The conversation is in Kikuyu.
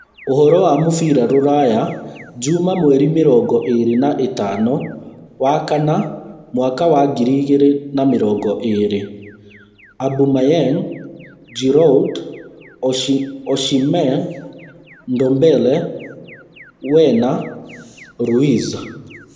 Ũhoro wa mũbira rũraya juma mweri mĩrongo ĩĩrĩ na ĩtano wakana mwaka wa ngiri igĩrĩ na mĩrongo ĩĩrĩ : Aubameyang, Giroud, Osimhen, Ndombele, Werner, Ruiz